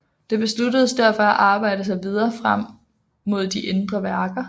Det besluttedes derfor at arbejde sig videre frem mod de indre værker